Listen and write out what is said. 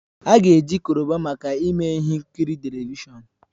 A ga eji Koroba maka ime ihe nkiri televishọn